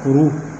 Kuru